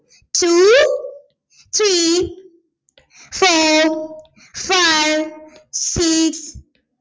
two three four five six